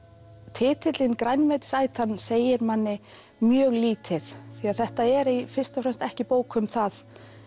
titillinn grænmetisætan segir manni mjög lítið því að þetta er fyrst og fremst ekki bók um það